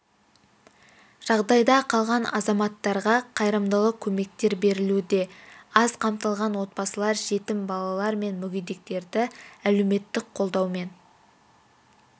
жағдайда қалған азаматтарға қайырымдылық көмектер берілуде аз қамтылған отбасылар жетім балалар мен мүгедектерді әлеуметтік қолдаумен